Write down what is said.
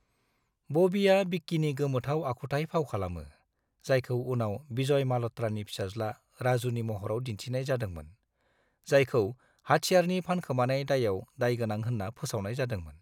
ब'बीआ बिक्किनि गोमोथाव आखुथाय फाव खालामो, जायखौ उनाव विजय म'ल्हत्रानि फिसाज्ला राजुनि महराव दिन्थिनाय जादोंमोन, जायखौ हाथेरनि फानखोमानाय दायाव दायगोनां होन्ना फोसावनाय जादोंमोन।